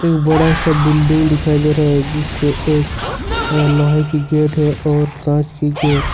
बड़ा सा बिल्डिंग दिखाई दे रहा है जिसके एक लोहे की गेट है और कांच की गेट --